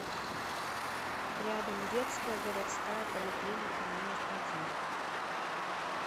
рядом детская городская поликлиника номер один